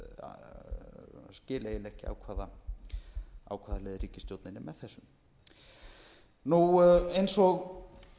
eiginlega ekki á hvaða leið ríkisstjórnin er með þessu eins og